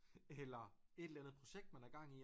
Eller et eller andet projekt man har gang i